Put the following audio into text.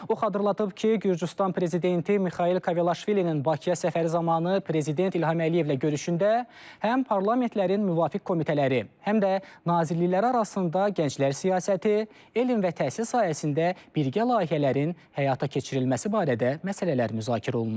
O xatırladıb ki, Gürcüstan prezidenti Mixail Kavelaşvilinin Bakıya səfəri zamanı prezident İlham Əliyevlə görüşündə həm parlamentlərin müvafiq komitələri, həm də nazirliklər arasında gənclər siyasəti, elm və təhsil sahəsində birgə layihələrin həyata keçirilməsi barədə məsələlər müzakirə olunub.